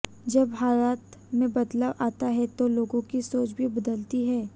जब हालात में बदलाव आता है तो लोगों की सोच भी बदलती है